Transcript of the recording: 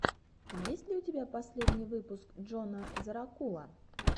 есть ли у тебя последний выпуск джона зэрокула